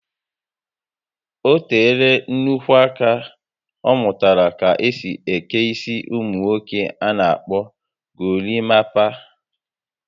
Ọ teela nnukwu aka ọ mụtara ka-esi eke isi ụmụ nwoke ana akpọ gorimapa